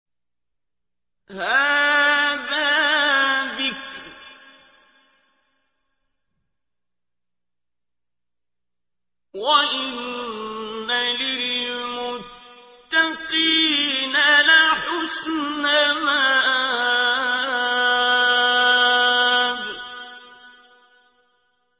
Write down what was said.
هَٰذَا ذِكْرٌ ۚ وَإِنَّ لِلْمُتَّقِينَ لَحُسْنَ مَآبٍ